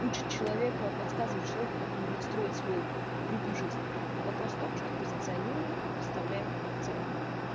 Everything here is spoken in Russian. учит человека подсказывает человеку как его настроить свой ритм жизни вопрос в том что позиционирование расставляет акцент